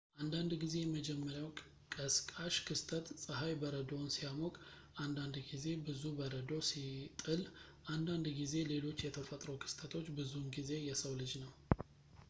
አንዳንድ ጊዜ የመጀመሪያው ቀስቃሽ ክስተት ፀሐይ በረዶውን ሲያሞቅ አንዳንድ ጊዜ ብዙ በረዶ ሲጥል አንዳንድ ጊዜ ሌሎች የተፈጥሮ ክስተቶች ብዙውን ጊዜ የሰው ልጅ ነው